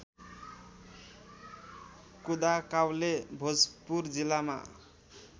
कुदाकाउले भोजपुर जिल्लामा